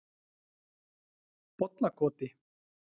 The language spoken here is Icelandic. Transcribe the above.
Bollakoti